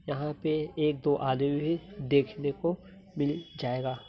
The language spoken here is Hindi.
यहाँ पे एक दो आदमी भी देखने को मिल जाएगा।